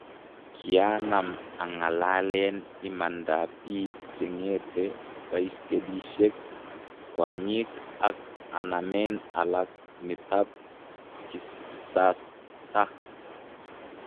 Kianam angalalen imanap pik che ngete baiskelishek kwanyik ak anamen alek nitap kisastaa